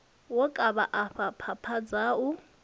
wo kavha afha phapha dzau